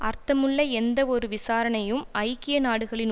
அர்த்தமுள்ள எந்தவொரு விசாரணையும் ஐக்கிய நாடுகளின்